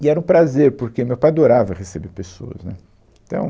E era um prazer, porque o meu pai adorava receber pessoas, né. Então..